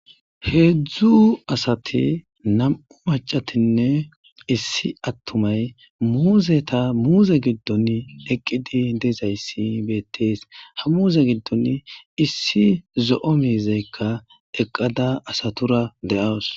Hedzdzu asati nam'u maccatinne issi atumay muuzeta muuze giddoni eqidi dizayssi beetees ha muuze giddoni issi zo'o mizaykka eqada asatura de'awus.